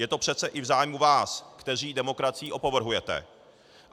Je to přeci i v zájmu vás, kteří demokracií opovrhujete.